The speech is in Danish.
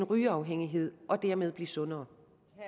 rygeafhængighed og dermed blive sundere